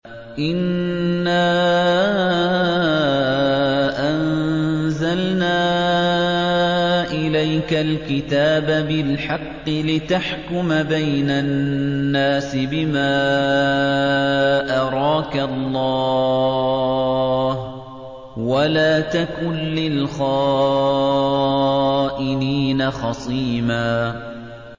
إِنَّا أَنزَلْنَا إِلَيْكَ الْكِتَابَ بِالْحَقِّ لِتَحْكُمَ بَيْنَ النَّاسِ بِمَا أَرَاكَ اللَّهُ ۚ وَلَا تَكُن لِّلْخَائِنِينَ خَصِيمًا